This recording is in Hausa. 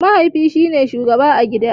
Mahaifi shine shugaba a gida.